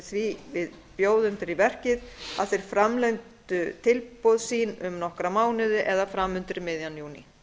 því við bjóðendur í verkið að þeir framlengdu tilboð sín um nokkra mánuði það er fram undir miðjan júní